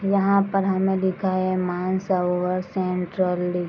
यहाँ पर हमें दिखा है मानसरोवर सेंट्रली .